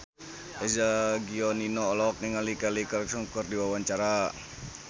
Eza Gionino olohok ningali Kelly Clarkson keur diwawancara